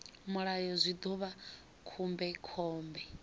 mulayo zwi ḓo vha khombekhombe